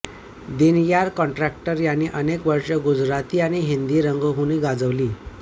दिनयार कॉन्ट्रॅक्टर यांनी अनेक वर्ष गुजराती आणि हिंदी रंगभूमी गाजवली